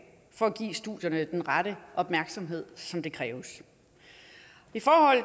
for at give studierne den rette opmærksomhed som der kræves i forhold